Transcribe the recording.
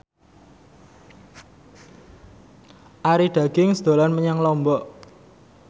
Arie Daginks dolan menyang Lombok